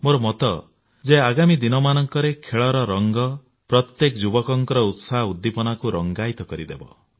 ମୋର ମତ ଯେ ଆଗାମୀ ଦିନମାନଙ୍କରେ ଖେଳର ରଙ୍ଗ ପ୍ରତ୍ୟେକ ଯୁବକଙ୍କ ଉତ୍ସାହ ଉଦ୍ଦୀପନାକୁ ରଙ୍ଗାୟିତ କରିଦେବ